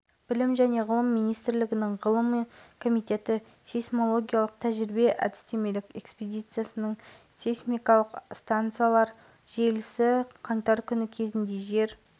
айта кетейік биыл қазақстандағы инфляцияның мақсатты дәлізі пайыз деңгейінде белгіленген ұлттық банкі бағалауында таяу айдың ішінде